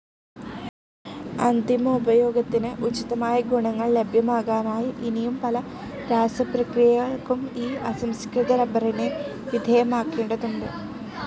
അന്തിമോപയോഗത്തിന് ഉചിതമായ ഗുണങ്ങൾ ലഭ്യമാകാനായി ഇനിയും പല രാസപ്രക്രിയകൾക്കും ഈ അസംസ്കൃത റബ്ബറിനെ വിധേയമാക്കേണ്ടതുണ്ട്.